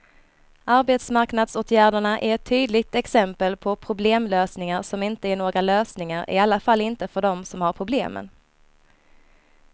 Arbetsmarknadsåtgärderna är ett tydligt exempel på problemlösningar som inte är några lösningar, i alla fall inte för dem som har problemen.